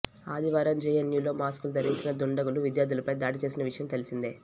ఆదివారం జేఎన్యూలో మాస్కులు ధరించిన దుండగులు విద్యార్థులపై దాడి చేసిన విషయం తెలిసిందే